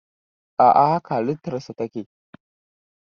a'a haka halittarsa take